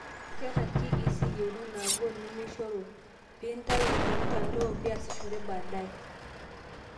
Keeta KEC iyeunot naagol, nemeishoru piintayu temtandao piiasishore badaae